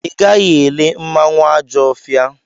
Ị gaghị ele mmanwụ Ajọfia!